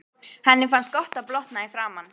Henni finnst gott að blotna í framan.